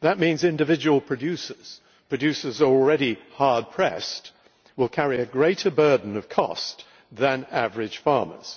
That means individual producers producers who are already hard pressed will carry a greater burden of cost than average farmers.